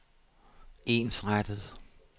ensrettet